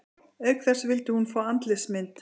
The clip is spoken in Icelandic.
Auk þess vildi hún fá andlitsmynd